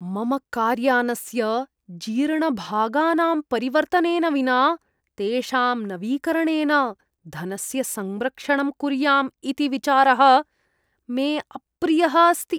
मम कार्यानस्य जीर्णभागानां परिवर्तनेन विना तेषां नवीकरणेन धनस्य संरक्षणम् कुर्याम् इति विचारः मे अप्रियः अस्ति।